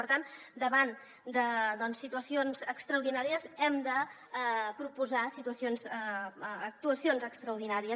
per tant davant de situacions extraordinàries hem de proposar actuacions extraordinàries